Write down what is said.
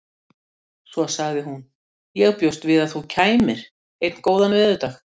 Svo sagði hún: Ég bjóst við að þú kæmir. einn góðan veðurdag